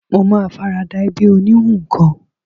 Mo ma farada ẹbí oníhun kan